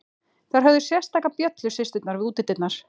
Þær höfðu sérstaka bjöllu, systurnar, við útidyrnar.